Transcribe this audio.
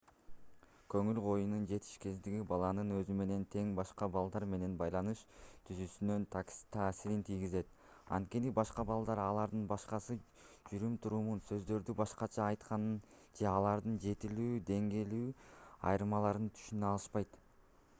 көңүл коюунун жетишсиздиги баланын өзү менен тең башка балдар менен байланыш түзүүсүнө таасирин тийгизет анткени башка балдар алардын башкача жүрүм-турумун сөздөрдү башкача айтканын же алардын жетилүү деңгээли айырмаланарын түшүнө алышпайт